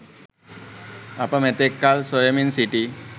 අප මෙතෙක් කල් සොයමින් සිටි